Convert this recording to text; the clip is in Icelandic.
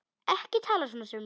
Ekki tala svona, Sif mín!